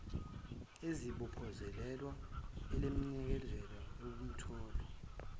elizibophezele elemukela ukutholwa